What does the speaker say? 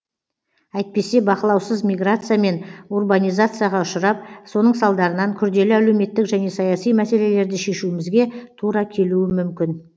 әйтпесе бақылаусыз миграция мен урбанизацияға ұшырап соның салдарынан күрделі әлеуметтік және саяси мәселелерді шешуімізге тура келуі мүмкін